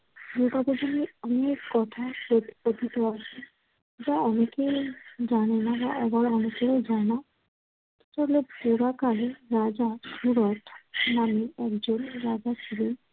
দুর্গাপূজা নিয়ে অনেক কথা কথ~ কথিত আছে। যা অনেকেই জানে না বা আবার অনেকেরও জানা। তবে পুরাকালে রাজা হুরত নামে একজন রাজা ছিলেন।